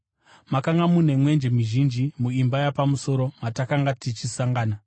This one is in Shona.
Makanga mune mwenje mizhinji muimba yapamusoro matakanga tichisangana.